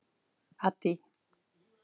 Addý